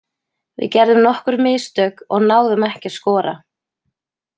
Við gerðum nokkur mistök og náðum ekki að skora.